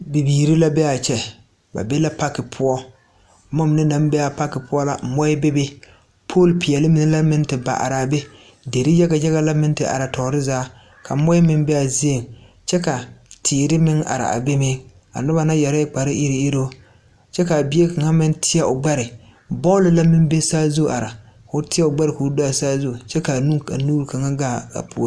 Bibiire la beaa kyɛ ba be la pake poɔ bomma mine naŋ bee a pake poɔ la moɔɛ bebe pool peɛɛli mine meŋ te ba araa be derre yaga yaga la meŋ te are toore zaa ka moɔɛ meŋ beaa zieŋ kyɛ ka teere meŋ are a be meŋ ba mine yɛrɛɛ kpare iruŋiruŋ kyɛ kaa bie kaŋa meŋ tēɛ o gbɛre bɔl la meŋ be saazu are koo teɛ o gbɛre koo do a saazu ka nuure kaŋa gaa a puore.